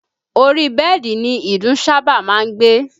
Ori bẹ́ẹ̀dì ni ìdun sábà máa ń gbé